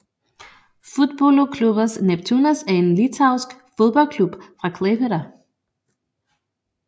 Futbolo klubas Neptūnas er en litauisk fodboldklub fra Klaipėda